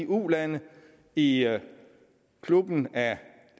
ulande i klubben af